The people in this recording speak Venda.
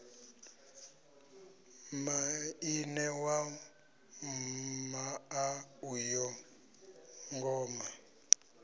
maine wa muḽa uyo ngoma